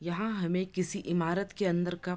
यहाँ हमें किसी इमारत के अंदर का --